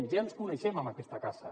ja ens coneixem en aquesta casa